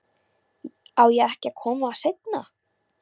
Á ég ekki að koma seinna?